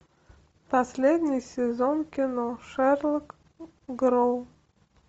последний сезон кино шерлок гроув